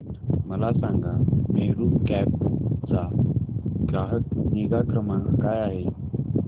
मला सांगा मेरू कॅब चा ग्राहक निगा क्रमांक काय आहे